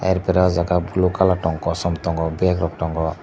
aar pore ah jaga blue colour tong kosom tongo bag rok tongo.